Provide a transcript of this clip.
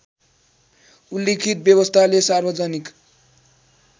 उल्लिखित व्यवस्थाले सार्वजनिक